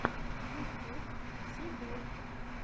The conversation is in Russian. ютюб си дэй